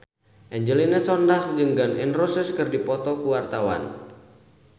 Angelina Sondakh jeung Gun N Roses keur dipoto ku wartawan